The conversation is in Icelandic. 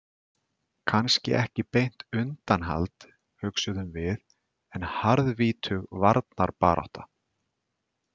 Kannski ekki beint undanhald, hugsuðum við, en harðvítug varnarbarátta.